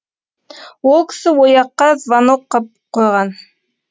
ол кісі ояққа звонок қып қойған